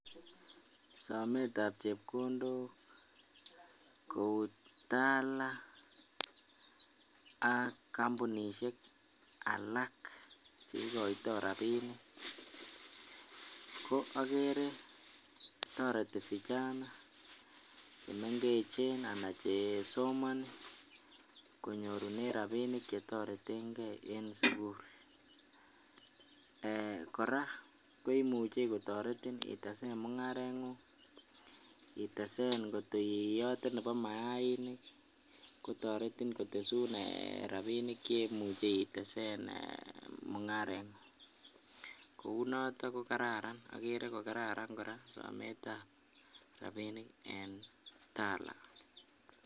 Sometab chepkondok Kou Tala ak kambunishek alak cheikoito rabinik ko akere toreti vijana chemeng'echen anan chesomoni konyorunen rabinik chetoreteng'e en sukul kora koimuche kotoreti itesen mung'arengung, itesen ng'ot iyote Nebo maiinik kotoretin kotesun rabinik cheimuche itesen mung'arengung, Kou noton ko kararan akere ko kararan kora sometab rabinik en Tala.